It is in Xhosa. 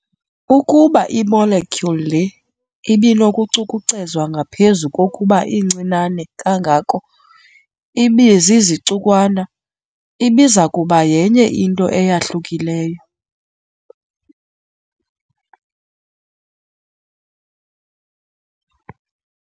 Ukuba i-molecule le ibinokucukucezwa ngaphezu kokuba incinane kangako ibezizicukwana, ibizakuba yenye into eyahlukileyo.